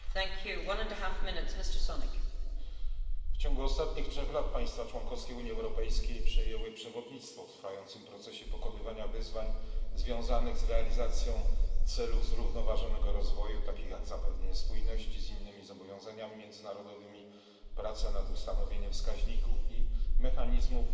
Pani Przewodnicząca! W ciągu ostatnich trzech lat państwa członkowskie Unii Europejskiej przejęły przewodnictwo w trwającym procesie pokonywania wyzwań związanych z realizacją celów zrównoważonego rozwoju, takich jak zapewnienie spójności z innymi zobowiązaniami międzynarodowymi, prace nad ustanowieniem wskaźników i mechanizmów